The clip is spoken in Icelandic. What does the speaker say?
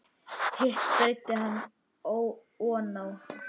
Hitt breiddi hann oná hann.